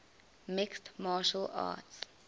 mixed martial arts